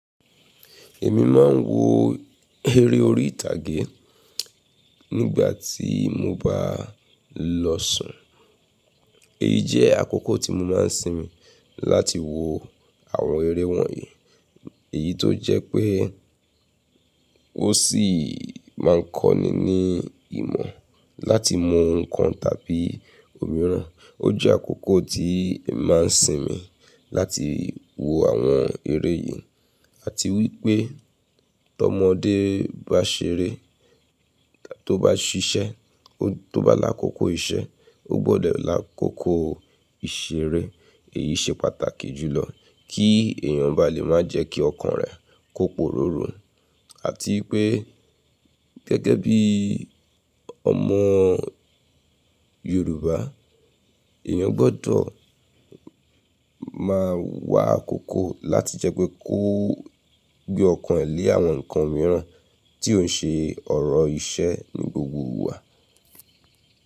Èmi máa ń wo eré orí ìtàgé nígbà tí mo bá lọ sùn. Èyí jẹ́ àkókò tí mo máa ń sinmi láti wo àwọn eré wọ̀nyí. Èyí tó jẹ́ pé ó sì máa ń kọ́ni ní ìmọ̀ láti mọ nǹkan tàbí òmíràn. Ó jẹ́ àkókò tí màá ń sinmi láti wo àwọn eré yìí. Àti wípé tó ọmọdé bá ṣeré, tó bá ṣiṣẹ́, tó bá làkókò iṣẹ́, ó gbọ́dọ̀ làkókò ìṣeré. Èyí ṣe pàtàkì jùlọ kí èèyàn bá lè máa jẹ́ kí ọkàn rẹ̀ kó poró ru Àti wípé gẹ́gẹ́ bí ọmọ Yorùbá, èèyàn gbọ́dọ̀ máa wà àkókò láti jẹ́ pé kó gbé ọkàn ẹ lé àwọn nǹkan mìíràn tí ó ń ṣe ọ̀rọ̀ iṣẹ́ ní gbogbo ìgbà.